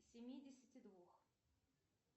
семидесяти двух